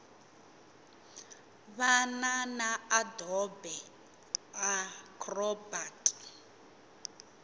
va na na adobe acrobat